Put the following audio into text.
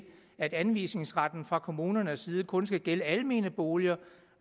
at anvisningsretten fra kommunernes side kun skal gælde almene boliger